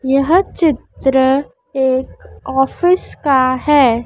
यह चित्र एक ऑफिस का है।